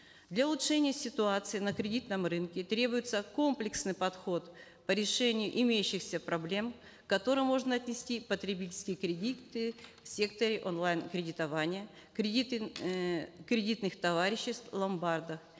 для улучшения ситуации на кредитном рынке требуется комплексный подход по решению имеющихся проблем к которым можно отнести потребительские кредиты в секторе онлайн кредитования кредиты э кредитных товариществ ломбардов